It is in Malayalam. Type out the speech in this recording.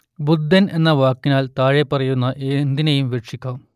ബുദ്ധൻ എന്ന വാക്കിനാൽ താഴെപ്പറയുന്ന എന്തിനേയും വിവക്ഷിക്കാം